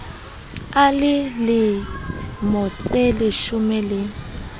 a le lemo tseleshome le